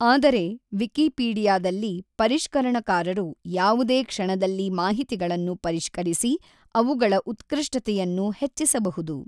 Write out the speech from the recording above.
ಆದರೆ ವಿಕಿಪೀಡಿಯಾದಲ್ಲಿ ಪರಿಷ್ಕರಣಕಾರರು ಯಾವುದೇ ಕ್ಷಣದಲ್ಲಿ ಮಾಹಿತಿಗಳನ್ನು ಪರಿಷ್ಕರಿಸಿ ಅವುಗಳ ಉತ್ಕೃ಼ಷ್ಟತೆಯನ್ನು ಹೆಚ್ಚಿಸಬಹುದು.